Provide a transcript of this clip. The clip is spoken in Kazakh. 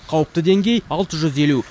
қауіпті деңгей алты жүз елу